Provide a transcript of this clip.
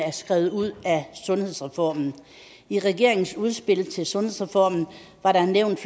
er skrevet ud af sundhedsreformen i regeringens udspil til sundhedsreformen var der nævnt